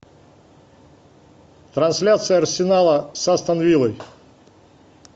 трансляция арсенала с астон виллой